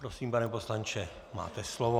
Prosím, pane poslanče, máte slovo.